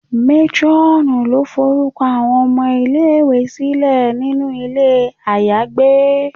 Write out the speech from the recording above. Matronù lo forukọ awọn ọmọ ile-iwe silẹ sinu ilé ayagbé.